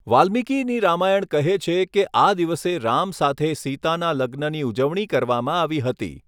વાલ્મિકીની રામાયણ કહે છે કે આ દિવસે રામ સાથે સીતાના લગ્નની ઉજવણી કરવામાં આવી હતી.